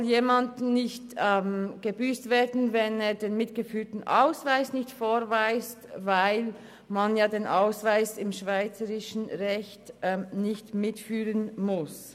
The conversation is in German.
Zudem soll jemand nicht gebüsst werden, wenn er den mitgeführten Ausweis nicht vorweist, weil man den Ausweis im schweizerischen Recht nicht mitführen muss.